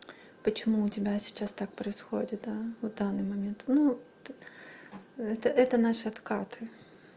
почему у тебя сейчас так происходит а вот в данный момент ну это это наш откаты